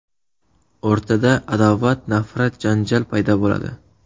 O‘rtada adovat, nafrat, janjal paydo bo‘ladi.